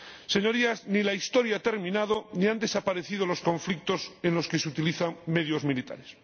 Señorías, ni la historia ha terminado, ni han desaparecido los conflictos en los que se utilizan medios militares.